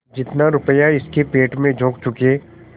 जितना रुपया इसके पेट में झोंक चुके